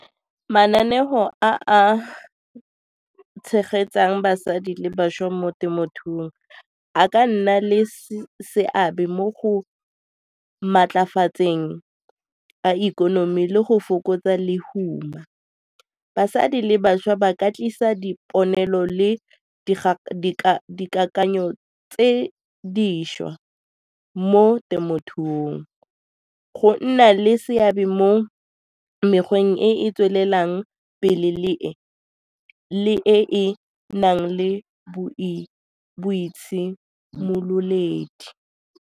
Mananeo a a tshegetsang basadi le bašwa mo temothuong a ka nna le seabe mo go maatlafatsa teng a ikonomi le go fokotsa lehuma. Basadi le bašwa ba ka tlisa dipolelo le dikakanyo tse dišwa mo temothuong. Go nna le seabe mo mekgweng e e tswelelang pele le e e nang le boitshimololedi.